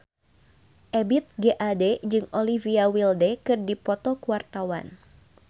Ebith G. Ade jeung Olivia Wilde keur dipoto ku wartawan